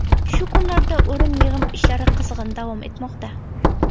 Shu kunlarda o‘rim-yig‘im ishlari qizg‘in davom etmoqda.